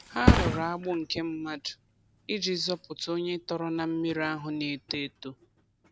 Ha rụrụ agbụ nke mmadụ iji zọpụta onye tọrọ na mmiri ahụ na-eto eto.